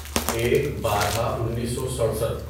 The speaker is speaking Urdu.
ایک بارہ انیسو سڑسٹھ